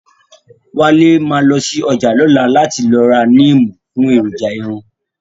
Wálé ma lọ sí ọjà lọ́la láti lọ ra níìmù fún èròjà irun